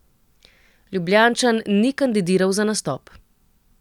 Ljubljančan ni kandidiral za nastop.